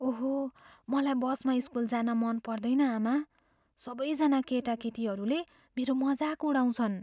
ओहो! मलाई बसमा स्कुल जान मन पर्दैन, आमा। सबैजना केटाकेटीहरूले मेरो मजाक उडाउँछन्।